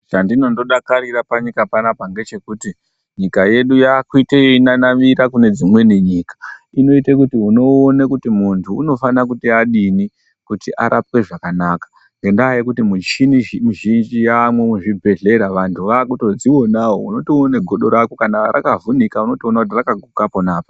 Chandinondodakarira panyika panapa ngechekuti nyika yedu yakuite yeinanavira kune dzimweni nyika. Inoite kuti unoone kuti muntu unofana kuti adini kuti arapwe zvakanaka. Ngenda yekuti muchini muzhinji yaamwo muzvibhedhlera, vantu vakutodzionawo, unotoone godo rako kana rakavhunika unotoona kuti rakaguka pona apa.